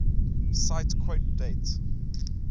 cite quote date